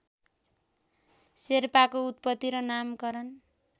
शेर्पाको उत्पत्ति र नामकरण